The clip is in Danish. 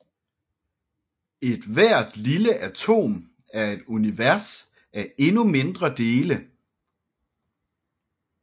Ethvert lille atom er et univers af endnu mindre dele